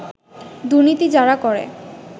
দুর্নীতি যারা করে